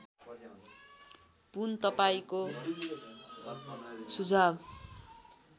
पुन तपाईँंको सुझाव